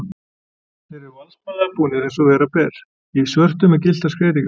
Þeir eru valdsmannslega búnir, eins og vera ber, í svörtu með gylltar skreytingar.